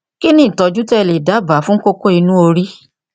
kí ni ìtọjú tí ẹ lè dábàá fún kókó inú orí